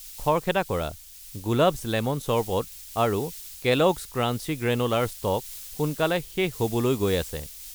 খৰখেদা কৰা, Gulab's lemon sherbet আৰু কেলগ্ছ ক্ৰাঞ্চি গ্ৰেনোলা ৰ ষ্টক সোনকালে শেষ হ'বলৈ গৈ আছে।